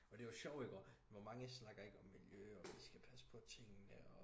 og det er jo sjovt ikke også hvor mange snakker ikke om miljø og vi skal passe på tingene og